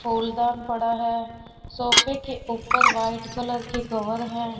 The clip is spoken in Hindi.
कूड़ादान पड़ा है सोफे के ऊपर व्हाइट कलर के कवर है।